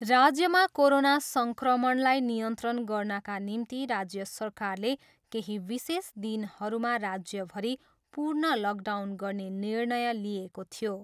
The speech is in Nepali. राज्यमा कोरोना सङ्क्रमणलाई नियन्त्रण गर्नाका निम्ति राज्य सरकारले केही विशेष दिनहरूमा राज्यभरि पूर्ण लकडाउन गर्ने निर्णय लिएको थियो।